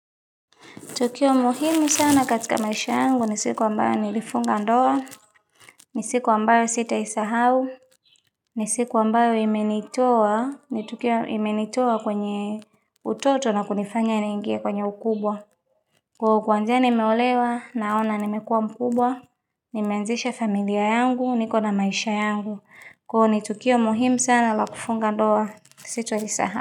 Tukio muhimu sana katika maisha yangu ni siku ambayo nilifunga ndoa, ni siku ambayo sitaisahau, ni siku ambayo imenitoa, ni tukio imenitoa kwenye utoto na kunifanya niingie kwenye ukubwa. Kwa kuanzia nimeolewa naona nimekuwa mkubwa, nimeanzisha familia yangu, niko na maisha yangu. Kwa ni tukio muhimu sana la kufunga ndoa sitaisahau.